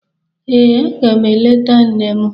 Ee, aga m eleta nne m.